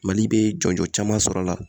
Mali bɛ jɔnjɔn caman sɔrɔ a la